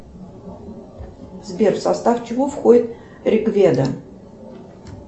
сбер в состав чего входит рикведа